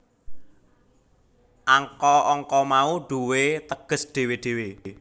Angka angka mau duwé teges dhewe dhewe